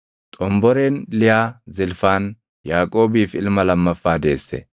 Xomboreen Liyaa Zilfaan Yaaqoobiif ilma lammaffaa deesse.